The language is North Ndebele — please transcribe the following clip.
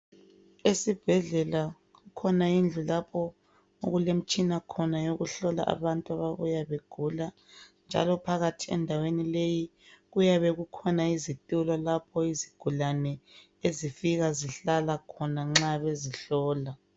Esibhedlela kukhona indlu lapho okulemtshina khona eyokuhlola abantu ababuya begula njalo phakathi endaweni leyi kuyabe kukhona izitulo lapho izigulane ezifika zihlala khona nxa bezihlola.